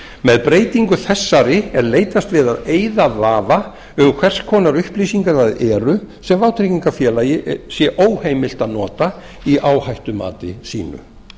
með breytingu þessari er leitast við að eyða vafa um hvers konar upplýsingar það eru sem vátryggingafélag sé óheimilt að nota í áhættumati sínu